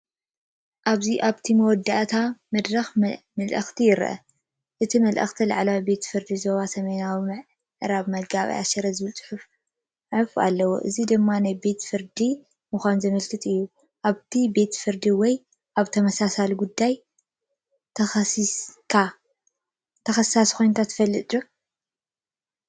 ኣብዚ ኣብቲ መእተዊ መድረኽ ምልክት ይርአ። እቲ ምልክት“ላዕለዋይ ቤት ፍርዲ ዞባ ሰሜናዊ ምዕራብ መጋባእያ ሽረ”ዝብል ጽሑፍ ኣሎ። እዚ ድማ ናይ ቤት ፍርዲ መድረኽ ምዃኑ ዘመልክት እዩ። ኣብዚ ቤት ፍርዲ ወይ ኣብ ተመሳሳሊ ጉዳይ ተኸሳሲ ኮይንካ ትፈልጥ ዲኻ?